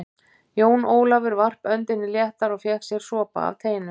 Jón Ólafur varp öndinni léttar og fékk sér sopa af teinu.